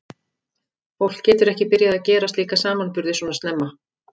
Fólk getur ekki byrjað að gera slíka samanburði svona snemma.